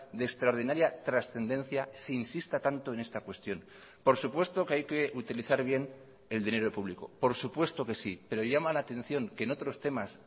de extraordinaria trascendencia se insista tanto en esta cuestión por supuesto que hay que utilizar bien el dinero público por supuesto que sí pero llama la atención que en otros temas